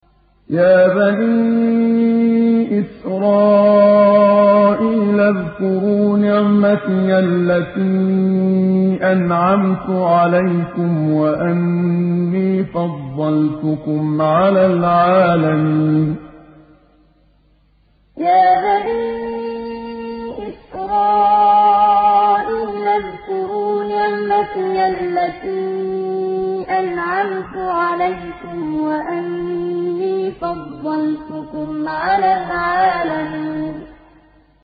يَا بَنِي إِسْرَائِيلَ اذْكُرُوا نِعْمَتِيَ الَّتِي أَنْعَمْتُ عَلَيْكُمْ وَأَنِّي فَضَّلْتُكُمْ عَلَى الْعَالَمِينَ يَا بَنِي إِسْرَائِيلَ اذْكُرُوا نِعْمَتِيَ الَّتِي أَنْعَمْتُ عَلَيْكُمْ وَأَنِّي فَضَّلْتُكُمْ عَلَى الْعَالَمِينَ